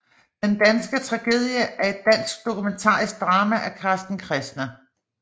Den danske tragedie er et dansk dokumentarisk drama af Carsten Kressner